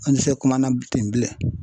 An tɛ se kuma na ten bilen